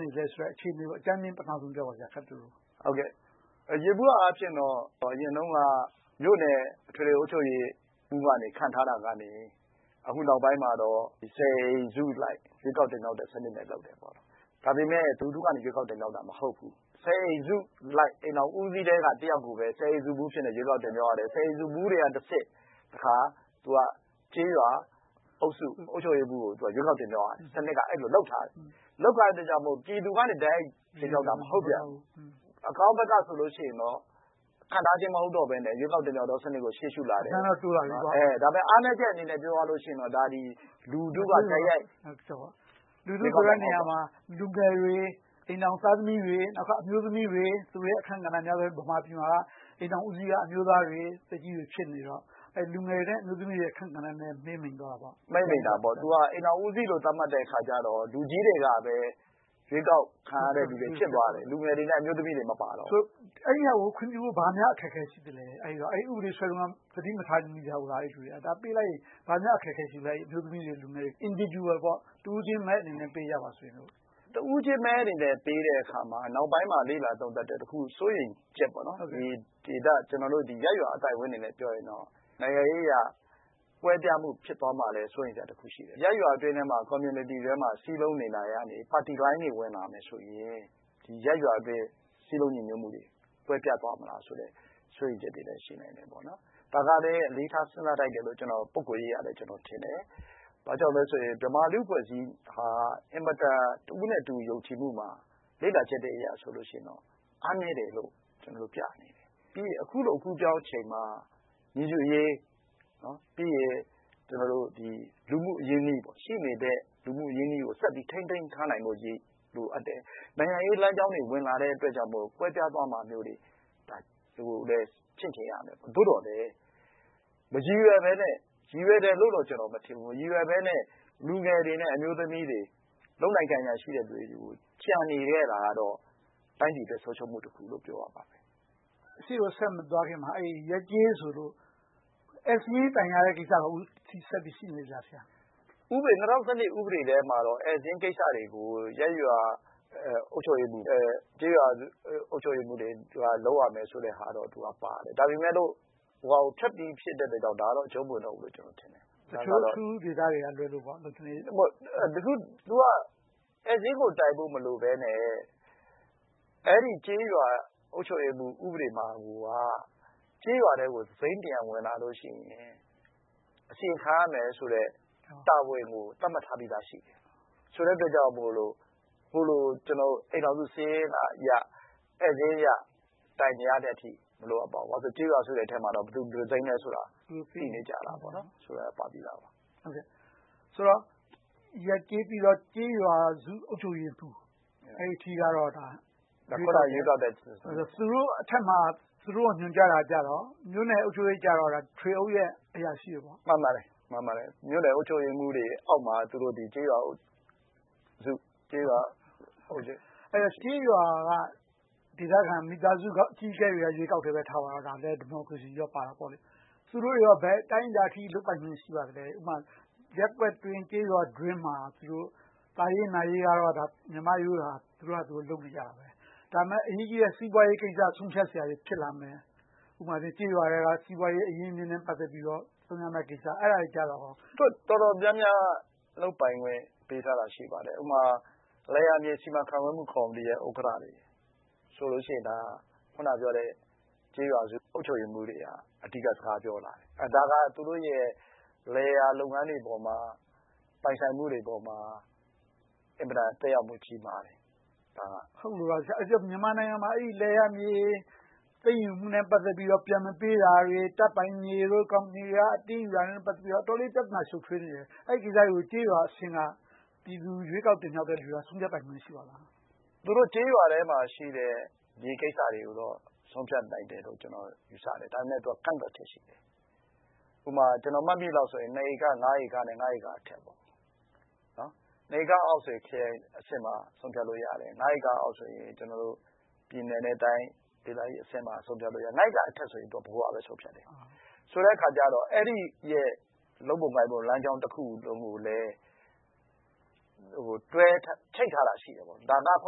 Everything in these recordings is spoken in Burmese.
နေသလဲဆိုတဲ့ အခြေအနေကို အကြမ်းမျဉ်း ခပ်တိုတို ပထမဦးဆုံးပြောပါ။ ယေဘုယျအားဖြင့်တော့ အရင်တုန်းက မြို့နယ်အထွေထွေအုပ်ချုပ်ရေးမှုးကနေ ခန့်ထားတာကနေ အခုနောက်ပိုင်းမှာတော့ ဆယ်အိမ်စုအလိုက် ရွေးကောက်တင်မြှောက်တဲ့စနစ်နဲ့ လုပ်တယ်။ ဒါပေမဲ့ လူထုကနေ ရွေးကောက်တင်မြှောက်တာ မဟုတ်ဘူး။ ဆယ်အိမ်စုအလိုက် အိမ်ထောင်ဦးစီးထဲက တယောက်ကိုပဲ ဆယ်အိမ်မှုးအဖြစ် ရွေးကောက်တင်မြှောက်ရတယ်။ ဆယ်အိမ်မှုးတွေကတဆင့် တခါ ကျေးရွာအုပ်စု အုပ်ချုပ်ရေးမှုးကို ရွေးကောက်တင်မြှောက်ရတယ်။ စနစ်က အဲဒီလို လုပ်ထားတယ်။ အဲဒီလို လုပ်ထားတဲ့အတွက် ပြည်သူကနေ တိုက်ရိုက်တင်မြှောက်တာ မဟုတ်ပြန်ဘူး။ အကောင်းဘက်က ဆိုလို့ရှိရင်တော့ ခန့််ထားခြင်း မဟုတ်တော့ဘဲနဲ့ ရွေးကောက်တင်မြှောက်ခြင်း စနစ်ကို ရှေ့ရှု့လာတယ်။ ဒါပေမဲ့ အားနည်းချက်အနေနဲ့ ပြောရမယ်ဆိုရင်တော့ ဒါသည် လူထုက တိုက်ရိုက်ရွေးချယ်တာ မဟုတ်ဘူး။ လူထုဆိုတဲ့နေရာမှာ လူငယ်တွေ အိမ်ထောင်သားသမီး၊ အမျိုးသမီးတွေ၊ သူတို့ရဲ့ အခန်းကဏ္ဍက မြန်မာပြည်မှာ အများဆုံး။ အိမ်ထောင်ဦးစီးက အမျိုးသားတွေ သက်ကြီးအို ဖြစ်နေတော့ လူငယ်တွေနဲ့ အမျိုးသမီးတွေရဲ့ အခန်းကဏ္ဍ မှေးမှိန်သွားတာပေါ့။ မှေးမှိန်တာပေါ့။ သူက အိမ်ထောင်ဦးစီးလို့ သတ်မှတ်တဲ့အခါကြတော့ လူကြီးတွေကပဲ ရွေးကောက်ခံရတဲ့လူတွေ ဖြစ်သွားတယ်။ လူငယ်တွေနဲ့ အမျိုးသမီးတွေ မပါတော့ဘူး။ အဲဒါကို ခွင့်ပြုဖို့ ဘာများအခက်အခဲ ရှိသလဲ။ အဲဒီ ဥပဒေ ရေးဆွဲတုန်းက သတိမထားမိကြဘူးလား။ ပေးလိုက်ဖို့ ဘာများ အခက်အခဲ ရှိမလဲ။ အမျိုးသမီးတွေ၊ လူငယ်တွေ individual တဦးချင်းမဲအနေနဲ့ ပေးကြပါစို့။ တဦးချင်းမဲအနေနဲ့ ပေးတဲ့အခါမှာ နောက်ပိုင်းမှာ လေ့လာသုံးသပ်တော့ စိုးရိမ်ချက်ပေါ့။ ရပ်ရွာအသိုက်အဝိုင်းအနေနဲ့ပြောရင် နိုင်ငံရေးအရ ကွဲပြားမှု ဖြစ်သွားမှာကိုလည်း စိုးရိမ်ချက်တခု ရှိတယ်။ ရပ်ရွာအတွင်းထဲမှာ Community ထဲမှာ စည်းလုံးနေလာကနေ ပါတီလိုင်းတွေ ဝင်လာမယ်ဆိုရင် ရပ်ရွာအတွင်း စည်းလုံးညီညွှတ်မှုတွေ ကွဲပြားသွားမလားဆိုတဲ့ စိုးရိမ်ချက်တွေလည်း ရှိနိုင်တယ်။ ဒါကလဲ အလေးထား စဉ်းစားထိုက်တယ်လို့ ပုဂ္ဂိုလ်ရေးအရ ကျနော်ထင်တယ်။ ဘာကြောင့်လဲဆိုရင် မြန်မာလူ့အဖွဲ့အစည်းဟာ တဦးနဲ့တဦး ယုံကြည်မှုမှာ လေ့လာချက်အရဆိုရင် အားနည်းတယ်လို့ ပြနေတယ်။ ပြီးတော့ အခုလို အကူးအပြောင်းအချိန်မှာ ညီတူရေး၊ ရှိနေတဲ့ လူမှု့အရင်းအနှီးကို ဆက်ပြီးထိန်းသိမ်းထားနိုင်ဖို့အရေး လိုအပ်တယ်။ နိုင်ငံရေးလမ်းကြောင်းတွေ ဝင်လာတဲ့အတွက်ကြောင့်မို့ ကွဲပြားသွားမှာမျိုးတွေ ချင့်ချိန်ရမယ်။ သို့သော်လဲ မရည်ရွယ်ဘဲနဲ့ ရည်ရွယ်တယ်လို့တော့ ကျနော် မထင်ဘူး။ မရည်ရွယ်ဘဲနဲ့ လူငယ်တွေနဲ့ အမျိုးသမီးတွေ လုပ်နိုင်ကိုင်နိုင်ရှိတဲ့လူတွေ ကျန်နေခဲ့တာတော့ တိုင်းပြည်အတွက် ဆုံးရှုံးမှုတခုလို့ ပြောရလိမ့်မယ်။ အရှေ့ကို ဆက်မသွားခင်မှာ ရပ်ကျေးဆိုလို့ ဧည့်စာရင်းတိုင်းရတဲ့ကိစ္စ အခုထိ ရှိနေသေးသလား။ ၂၀၁၂ ဥပဒေထဲမှာတော့ ဧည့်စာရင်းကိစ္စတွေကို ရပ်ရွား၊ ကျေးရွာ အုပ်ချုပ်ရေးမှုးတွေ လုပ်ရမယ်ဆိုတဲ့ဟာတော့ ပါတယ်။ ဒါပေမဲ့ ဟိုဟာကို ဖြတ်ပြီးဖြစ်တဲ့အတွက်ကြောင့် ဒါကတော့ အကြုံမဝင်တော့ဘူးလို့ ကျနော်ထင်တယ်။ တချို့ အထူးဒေသတွေကလွဲလို့ပေ့ါ။ သူက ဧည့်စာရင်းကို တိုင်းဖို့မလိုဘဲနဲ့ အဲဒီကျေးရွာဥပဒေကိုမှာက ကျေးရွာထဲကို တစိမ်းတရံ ဝင်လာလို့ရှိရင် အစီရင်ခံရမယ်ဆိုတဲ့ တာဝန်ကို သတ်မှတ်ထားပြီးသာရှိတယ်။ ဆိုတဲ့အတွက်ကြောင့်မို့ အိမ်ထောင်စုစာရင်းအရ၊ ဧည့်စာရင်းအရ တိုင်းကြားတဲ့အထိ မလိုအပ်ပါဘူး။ ဘာဖြစ်လို့လဲဆိုတော့ ကျေးရွာဆိုတဲ့အထဲမှာ ဘယ်တစိမ်းလဲဆိုတာ သိနေကြတယ်။ ရပ်ကျေးပြီးတော့ ကျေးရွာစု အုပ်ချုပ်ရေးမှုး အဲဒီအထိကတော့ သူတို့အထက်မှာ သူတို့ကို ညွှန်ကြားတာကြတော့ မြို့နယ်အုပ်ချုပ်ရေးက ထွေအုပ်ရဲ့ အရာရှိတွေပေါ့။ မှန်ပါတယ်။ မြို့နယ်အုပ်ချုပ်ရေးမှုးတွေအောက်မှာ ကျေးရွာစု အုပ်ချုပ်ရေး ရှိပါတယ်။ အဲဒီတော့ ကျေးရွာဒေသခံ အကြီးအကဲတွေ ရွေးကောက်တာ ထားပါတော့ ဒါလဲ ဒီမိုကရေစီပါတာပေါ့။ သူတို့တွေကော ဘယ်အတိုင်းအတာအထိ လုပ်ပိုင်ခွင့် ရှိပါသလဲ။ ဥပမာ ရပ်ကွက်အတွင်း၊ ကျေးရွာအတွင်းမှာ သာရေးနာရေးကတော့ မြန်မာ့ရိုးရာအတိုင်း သူတို့ဘာသာ သူတို့ လုပ်နေကြတယ်။ ဒါပေမဲ့ အရေးကြီးတဲ့ စီးပွားရေးကိစ္စ ဆုံးဖြတ်စရာတွေ ဖြစ်လာမယ်။ ဥပမာအားဖြင့် ကျေးရွာထဲက စီးပွားရေး အရင်းအမြစ်နဲ့ ပတ်သက်ပြီးတော့ သုံးရမယ့်ကိစ္စ။ အဲဒါနဲ့ ပတ်သက်လို့… တော်တော်များများ လုပ်ပိုင်ခွင့်တွေ ပေးထားတာ ရှိပါတယ်။ ဥပမာ လယ်ယာမြေ စီမံခန့်ခွဲမှုကော်မတီရဲ့ ဥက္ကဋ္ဌတွေဆိုရင် အခုနပြောတဲ့ ကျေးရွာစု အုပ်ချုပ်ရေးမှုးတွေက အဓိက စကားပြောလာတယ်။ ဒါက သူတို့ရဲ့ လယ်ယာလုပ်ငန်းတွေပေါ်မှာ ပိုင်ဆိုင်မှုတွေပေါ်မှာ အင်မတန် သက်ရောက်မှု ကြီးမားတယ်။ ဟုတ်လို့လား ဆရာ။ အဲဒီတော့ မြန်မာနိုင်ငံမှာ လယ်ယာမြေ သိမ်းယူမှုနဲ့ ပတ်သက်ပြီးတော့ ပြန်မပေးတာတွေ၊ တပ်ပိုင်မြေတို့၊ ကော်မတီတွေ အတင်းယူတာနဲ့ ပတ်သက်ပြီးတော့ အတော်လေး ပြဿနာ ရှုပ်ထွေးနေတယ်။ အဲဒီကိစ္စတွေကို ကျေးရွာအဆင့်က ပြည်သူ ရွေးကောက်တင်မြှောက်တဲ့လူက ဆုံးဖြတ်ပိုင်ခွင့် ရှိပါသလား။ သူတို့ကျေးရွာထဲမှာရှိတဲ့ မြေကိစ္စတွေကိုတော့ ဆုံးဖြတ်နိုင်တယ်လို့တော့ ကျနော် ယူဆတယ်။ ဒါပေမဲ့ ကန့်သတ်ချက် ရှိတယ်။ ဥပမာ ကျနော် မှတ်မိသလောက်ဆိုတော့ နှစ်ဧက၊ ငါးဧကနဲ့အထက်။ နှစ်ဧကအောက်မှာဆိုရင် ခရိုင်အဆင့်မှာ ဆုံးဖြတ်လို့ရတယ်။ ငါးဧကအောက်ဆိုရင် ပြည်နယ်နဲ့တိုင်းဒေသကြီးအဆင့်မှာ ဆုံးဖြတ်လို့ရတယ်။ ငါးဧကအထက်ဆိုရင် ဗဟိုက ဆုံးဖြတ်တယ်။ ဆိုတဲ့အခါကြတော့ အဲဒီရဲ့ လုပ်ပုံကိုင်ပုံ လမ်းကြောင်းတခုကိုလည်း တွဲချိတ်ထားတာရှိတယ်။ ဒါက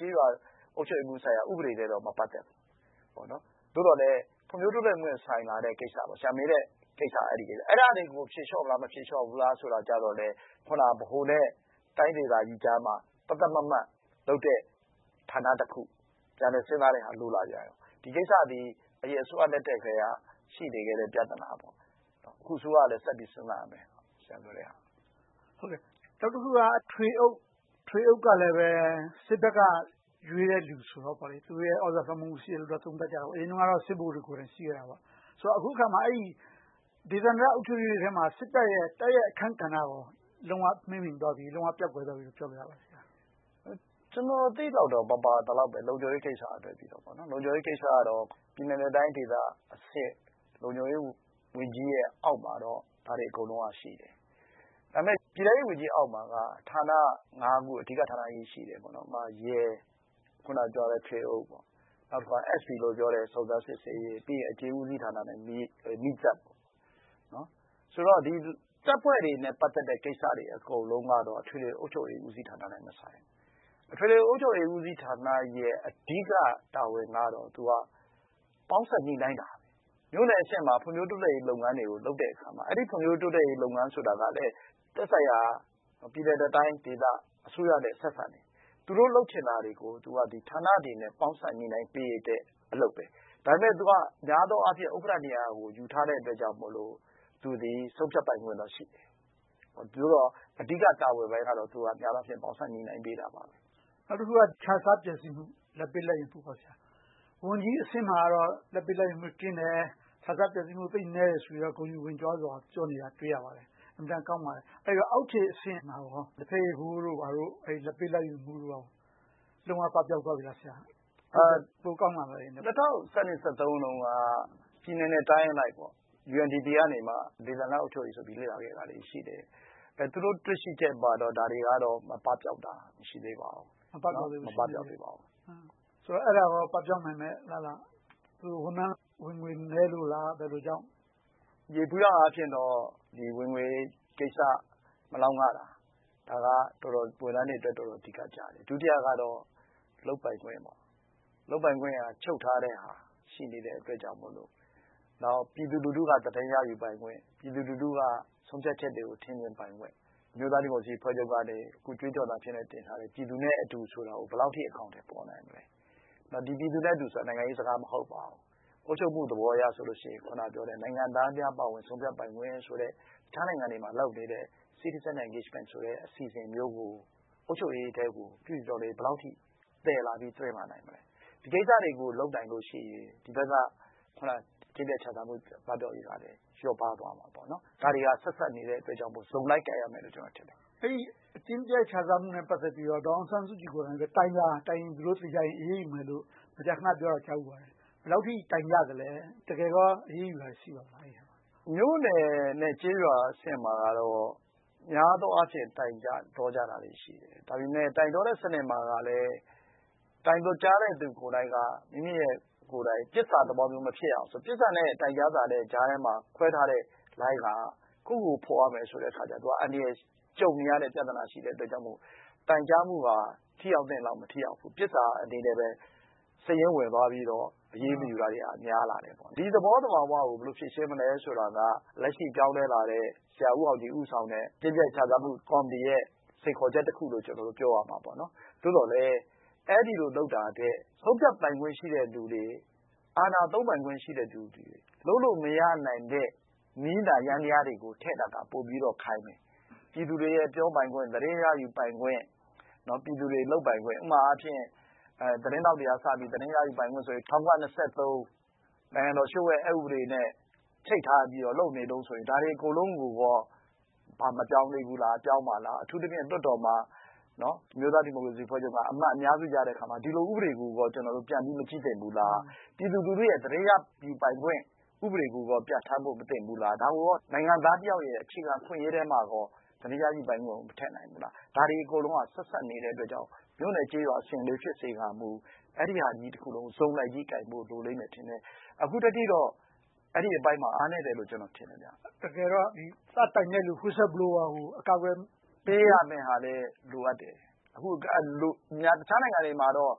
ကျေးရွာအုပ်ချုပ်ရေးမှုးဆိုင်ရာ ဥပဒေနဲ့တော့ မပတ်သက်ဘူး။ သို့သော်လဲ ဖွံ့ဖြိုးတိုးတက်မှုနဲ့ ဆိုင်လာတဲ့ကိစ္စ။ ဆရာ မေးတဲ့ကိစ္စက အဲဒီကိစ္စ။ အဲဒါတွေကို ဖြေလျှော့မလား၊ မဖြေလျှော့ဘူးလားဆိုတာကြတော့ အခုန ဗဟိုနဲ့ တိုင်းဒေသကြီးကြားမှာ သတ်သတ်မှတ်မှတ်လုပ်တဲ့ ဌာနတခု၊ ပြန်လည်စဉ်းစားတဲ့ဟာ လိုလာပြန်တယ်။ ဒီကိစ္စသည် အရင်အစိုးရလက်ထက်ကတည်းက ရှိနေခဲ့တဲ့ ပြဿနာ။ အခုအစိုးရကလည်း ဆက်ပြီးတော့ စဉ်းစားရမယ်။ နောက်တခုက ထွေအုပ်ကလည်း စစ်ဘက်က ရွေးတယ်လူဆိုတော့ သူတို့ရဲ့ သြဇာလွှမ်းမိုးမှု ရှိတယ်လို့လဲ သုံးသပ်ကြတယ်။ အရင်တုန်းကတော့ စစ်ဗိုလ်တွေကိုယ်တိုင် ရှိခဲ့တာပေါ့။ ဆိုတော့ အခုအခါမှာ ဒေသန္တရအုပ်ချုပ်ရေးတွေထဲမှာ စစ်တပ်ရဲ့ တိုက်ရိုက်အခန်းကဏ္ဍကော လုံးဝမှေးမှိန်သွားပြီ၊ ပျောက်ကွယ်သွားပြီလို့ ပြောလို့ရလား။ ကျနော် သိသလောက်တော့ မပါသလောက်ပဲ။ လုံခြုံရေးကိစ္စကလွဲလို့။ လုံခြုံရေးကိစ္စကတော့ ပြည်နယ်နဲ့တိုင်းဒေသအဆင့် လုံခြုံရေးဝန်ကြီးအောက်မှာတော့ ဒါတွေအကုန်လုံးက ရှိတယ်။ ဒါပေမဲ့ ပြည်ထဲရေးဝန်ကြီးအောက်မှာက ဌာန ခု။ အဓိကဌာနကြီးတွေ ရှိတယ်။ ဥပမာ ရဲ၊ ထွေအုပ်၊ SB ခေါ် စုံစမ်းစစ်ဆေးရေး၊ အကျဉ်းဦးစီးဌာန နဲ့ မီးသတ်။ ဒီတပ်ဖွဲ့တွေနဲ့ ပတ်သက်တဲ့ ကိစ္စတွေအကုန်လုံးကတော့ အထွေထွေအုပ်ချုပ်ရေးဦးစီးဌာနနဲ့ မဆိုင်ဘူး။ အထွေထွေအုပ်ချုပ်ရေးဦးစီးဌာနရဲ့ အဓိက တာဝန်ကတော့ သူက ပေါင်းစပ်ညှိနှိုင်းတာ။ မြို့နယ်အဆင့်မှာ ဖွံ့ဖြိုးတိုးတက်ရေး လုပ်ငန်းတွေကို လုပ်တဲ့အခါမှာ အဲဒီဖွံ့ဖြိုးတိုးတက်ရေး လုပ်ငန်းဆိုတာကလဲ သက်ဆိုင်ရာ ပြည်နယ်နဲ့တိုင်းဒေသ အစိုးရနဲ့ ဆက်စပ်နေတယ်။ သူတို့လုပ်ချင်တာတွေကို သူက ဌာနတွေနဲ့ ပေါင်းစပ်ညှိနှိုင်းပေးတဲ့အလုပ်။ ဒါပေမဲ့ သူက များသောအားဖြင့် ဥက္ကဋ္ဌနေရာ ယူထားတဲ့အတွက်ကြောင့်မို့ သူသည် ဆုံးဖြတ်ပိုင်ခွင့်တော့ ရှိတယ်။ အဓိကတာဝန်ပိုင်းတော့ သူက ပေါင်းစပ်ညှိနှိုင်းပေးတာပါ။ နောက်တခုက ခြစားပျက်ဆီးမှု - လာဘ်ပေးလာဘ်ယူမှု။ ဝန်ကြီးအဆင့်မှာတော့ လာဘ်ပေးလာဘ်ယူမှု ကင်းတယ်။ ခြစားပျက်ဆီးမှု သိပ်နည်းတယ်ဆိုပြီးတော့ ဂုဏ်ယူဝံ့ကြွားစွာ ပြောနေတာကို တွေ့ရပါတယ်။ အင်မတန်ကောင်းပါတယ်။ အောက်ခြေအဆင့်မှာ လက်ဖက်ရည်ဖိုးတို့ လာဘ်ပေးလာဘ်ယူမှုတွေ လုံးဝပပျောက်သွားပြီလား။ အရင်ကထက် ပိုကောင်းလာပြီလား။ ၂၀၁၂-၁၃ တုန်းက ပြည်နယ်နဲ့တိုင်းအလိုက် UNDP ကနေ ဒေသန္တရအုပ်ချုပ်ရေးဆိုင်ရာကို လေ့လာခဲ့တာရှိတယ်။ သူတို့ တွေ့ရှိချက်မှာတော့ ဒါတွေ ပပျောက်တာ မရှိသေးပါဘူး။ ဆိုတော့ အဲဒါ ပပျောက်နိုင်မယ့် အလားအလာ ရှိပါလား။ ဝန်ထမ်းဝင်ငွေ နည်းလို့လား။ ဘယ်လိုကြောင့်လဲ။ ယေဘုယျအားဖြင့်တော့ ဝင်ငွေကိစ္စ မလောက်ငတာ၊ ဒါက ဝန်ထမ်းတွေအတွက် တော်တော်လေး အဓိကကျတယ်။ ဒုတိယက လုပ်ပိုင်ခွင့်။ လုပ်ပိုင်ခွင့် ချုပ်ထားတဲ့ဟာ ရှိနေသေးတဲ့အတွက်ကြောင့်မို့။ နောက် ပြည်သူလူထုက သတင်းရယူပိုင်ခွင့်။ ပြည်သူလူထုက ဆုံးဖြတ်ချက်တွေကို ထင်မြင်ပိုင်ခွင့်။ အမျိုးသားဒီမိုကရေစီအဖွဲ့ချုပ်ရဲ့ အခုကြွေးကြော်သံဖြစ်တဲ့ “ပြည်သူနဲ့အတူ” ဆိုတာကို ဘယ်လောက်အထိ အကောင်အထည်ဖော်နိုင်မလဲ။ နောက် ဒီပြည်သူနဲ့အတူဆိုတာ နိုင်ငံရေးစကား မဟုတ်ပါဘူး။ အုပ်ချုပ်မှုသဘောအရဆိုရင် အခုနပြောတဲ့ နိုင်ငံသားများ ပါဝင်ဆုံးဖြတ်ပိုင်ခွင့်ဆိုတဲ့ အခြားနိုင်ငံတွေမှာ လုပ်နေတဲ့ Citizen Engagement ဆိုတဲ့ အစီအစဉ်မျိုးကို အုပ်ချုပ်ရေးထဲကို ပြုပြင်ပြောင်းလဲရေးက ဘယ်လောက်အထိ သယ်လာပြီး သွင်းလာနိုင်မလဲ။ ဒီကိစ္စတွေကို လုပ်နိုင်လို့ရှိရင် ဒီဘက်က အကျင့်ပျက်ခြစားမှု ပပျောက်ရေးကလည်း လျော့ပါးသွားမှာပါ။ ဒါတွေက ဆက်စပ်နေတဲ့အတွက်ကြောင့် စုံလိုက်ကိုင်ရမယ်လို့ ကျနော်ထင်တယ်။ အဲဒီ အကျင့်ပျက်ခြစားမှုနဲ့ ပတ်သက်ပြီးတော့ ဒေါ်အောင်ဆန်းစုကြည်ကိုယ်တိုင် တိုင်ကြား တိုင်းကြားတာ သေချာရင် အရေးယူမယ်လို့ မကြာခဏပြောတာ ကြားဖူးပါတယ်။ ဘယ်လောက်အထိ တိုင်ကြားသလဲ။ တကယ်ကော အရေးယူတာတွေ ရှိပါသလား။ မြို့နယ်နဲ့ကျေးရွာအဆင့်မှာတော့ များသောအားဖြင့် တိုင်ကြတောကြတာတွေ ရှိတယ်။ ဒါပေမဲ့ တိုင်တောတဲ့စနစ်မှာလည်း တိုင်ကြားတဲ့သူကိုယ်တိုင်က မိမိအနေနဲ့ ပစ်စာသဘောမျိုး မဖြစ်အောင်။ ပစ်စာနဲ့ တိုင်ကြားစာ ကြားထဲမှာ ခွဲထားတဲ့လိုင်းက ကိုယ့်ကိုယ်ကို ဖော်ရမယ်ဆိုတော့ အန္တရာယ်ကြုံနေရတဲ့ ပြဿနာ ရှိနေတဲ့အတွက်ကြောင့်မို့ တိုင်ကြားမှုက ထိရောက်သင့်သလောက် မထိရောက်ဘူး။ ပစ်စာအနေနဲ့ပဲ စာရင်းဝင်သွားပြီးတော့ အရေးမယူတာတွေက များလာတယ်။ ဒီသဘောသဘာဝကို ဘယ်လို ဖြေရှင်းမလဲဆိုတာက လက်ရှိ ပြောင်းလဲလာတဲ့ ဆရာဦးအောင်ကြည် ဦးဆောင်တဲ့ အကျင့်ပျက်ခြစားမှု ကော်မတီရဲ့ စိန်ခေါ်ချက်တခုလို့ ပြောရမှာပေါ့။ သို့သော်လဲ အဲဒီလိုလုပ်တာထက် ဆုံးဖြတ်ပိုင်ခွင့်ရှိတဲ့လူတွေ၊ အာဏာသုံးပိုင်ခွင့်ရှိတဲ့လူတွေ၊ လုပ်လို့မရနိုင်တဲ့ နည်းနာယန္တရားတွေကို ထည့်တာက ပိုပြီးတော့ ခိုင်မယ်။ ပြည်သူတွေရဲ့ ပြောပိုင်ခွင့်၊ သတင်းရယူပိုင်ခွင့်၊ ပြည်သူတွေ လုပ်ပိုင်ခွင့်။ ဥပမာအားဖြင့် သတင်းထောက်တွေကစပြီး သတင်းရယူပိုင်ခွင့်ဆိုပြီး ၁၉၂၃ နိုင်ငံတော်လျှို့ဝှက်အက်ဥပဒေနဲ့ ချိတ်ထားပြီးတော့ လုပ်နေတုန်းဆိုရင် ဒါတွေအကုန်လုံးကိုကော မပြောင်းသေးဘူးလား။ ပြောင်းမလား။ အထူးသဖြင့် လွှတ်တော်မှာ အမျိုးသားဒီမိုကရေစီအဖွဲ့ချုပ်က အမတ်အများဆုံး ရယူထားတဲ့အခါမှာ ဒီလို ဥပဒေကို ပြန်ပြီးမကြည့်သင့်ဘူးလား။ ပြည်သူလူထုရဲ့ သတင်းရယူပိုင်ခွင့် ဥပဒေကို ပြဌာန်းခွင့် မသင့်ဘူးလား။ ဒါကို နိုင်ငံသားတယောက်ရဲ့ အခြေခံအခွင့်အရေးထဲမှာ သတင်းရယူပိုင်ခွင့်ကို မထည့်နိုင်ဘူးလား။ ဒါတွေ အကုန်လုံးက ဆက်စပ်နေတဲ့အတွက်ကြောင့် မြို့နယ်ကျေးရွာအဆင့်လေးဖြစ်စေကာမူ အဲဒီဟာကြီးတခုလုံး စုံလိုက်ကြီးကိုင်ဖို့ လိုလိမ့်မယ်ထင်တယ်။ အခုထက်ထိတော့ အဲဒီအပိုင်းမှာ အားနည်းတယ်လို့ ကျနော် ထင်တယ်။ တကယ်တော့ စတိုင်တဲ့ Whistle blower ကို အကာအကွယ်ပေးဖို့.. အကာအကွယ်ပေးရမယ့်ဟာလဲ လိုအပ်တယ်။ အခြားနိုင်ငံတွေမှာတော့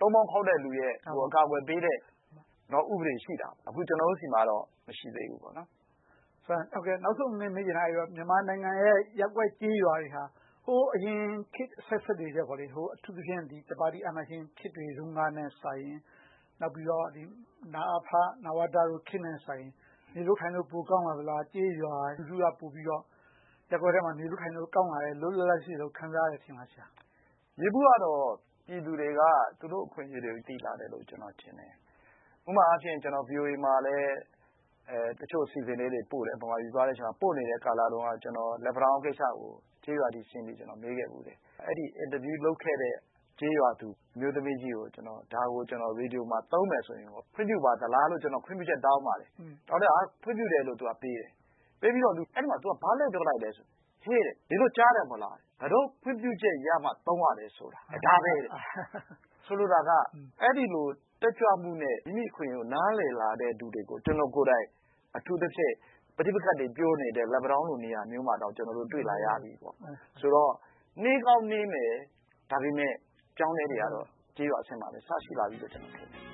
တုန်မောင်းခေါက်တဲ့လူရဲ့ အကာအကွယ်ပေးတဲ့ ဥပဒေ ရှိတယ်။ အခု ကျနော်တို့ဆီမှာတော့ မရှိသေးဘူး။ နောက်ဆုံးအနေနဲ့ မေးချင်တာက မြန်မာနိုင်ငံရဲ့ ရပ်ကွက်ကျေးရွာတွေဟာ ဟိုးအရင်ခေတ်အဆက်ဆက်တွေထက် အထူးသဖြင့် တပါတီအာဏာရှင်ခေတ်တွေကထက်စာရင် နောက်ပြီးတော့ နအဖ၊ နဝတခေတ်တွေနဲ့စာရင် နေလို့ထိုင်လို့ ပိုကောင်းလာသလား။ ကျေးရွာလူထုက ပိုပြီးတော့ ရပ်ကွက်ထဲမှာ နေလို့ထိုင်လို့ ကောင်းလာတယ်၊ လွတ်လွတ်လပ်လပ် ရှိလာတယ်လို့ ခံစားရတယ် ထင်ပါသလား။ ယေဘုယျတော့ ပြည်သူတွေက သူတို့ အခွင့်အရေးတွေကို သိလာတယ်လို့ ကျနော် ထင်တယ်။ ဥပမာအားဖြင့် ကျနော် VOA မှာလည်း တချို့အစီအစဉ်လေးတွေ ပို့တယ်။ ဗမာပြည် သွားနေတဲ့အချိန်မှာ - ပိုနေတဲ့ကာလတုန်းက လက်ပန်းတောင်းကိစ္စတွေကို ကျေးရွာတွေထဲဆင်းပြီး မေးခဲ့ဖူးတယ်။ အဲဒီ အင်တာဗျူးလုပ်ခဲ့တဲ့ ကျေးရွာသူ အမျိုးသမီးကြီးကို ဒါကို ရေဒီယိုမှာ သုံးမယ်ဆိုရင် ခွင့်ပြုပါသလားဆိုပြီး ခွင့်ပြုချက် တောင်းပါတယ်။ သူက ခွင့်ပြုတယ်လို့ ပေးတယ်။ ပေးပြီးတော့ သူက ဘာလှည့်ပြောလိုက်လဲဆိုတော့ “ဟေ့… နင်တို့ကြားတဲ့ မဟုတ်လား။ ငါတို့ ခွင့်ပြုချက်ရမှ သုံးရတယ်ဆိုတာ ဒါပဲ။” ဆိုလိုတာက အဲဒီလို တက်ကြွမှုနဲ့ မိမိ အခွင့်အရေးကို နားလည်လာတဲ့လူတွေကို ကျနော်ကိုယ်တိုင် အထူးသဖြင့် ပဋိပက္ခတွေ ပြောနေတဲ့ လက်ပန်းတောင်းလို့ နေရာမျိုးမှာတောင် တွေ့လာရပြီပေါ့။ ဆိုတော့ နှေးကောင်းနှေးမယ် ဒါပေမဲ့ အပြောင်းအလဲတွေက ကျေးရွာအဆင့်မှာလည်း အစရှိလာပြီလို့ ကျနော် ထင်တယ်။